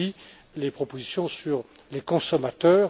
Dalli les propositions sur les consommateurs.